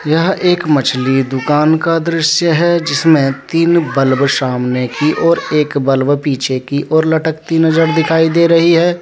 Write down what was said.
यह एक मछली दुकान का दृश्य है जिसमें तीन बल्ब सामने की ओर एक बल्ब पीछे की ओर लटकता नजर दिखाई दे रही है।